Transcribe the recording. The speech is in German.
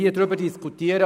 Bezüglich